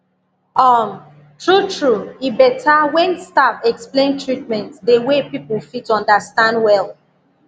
um true true e better when staff explain treatment the way people fit understand well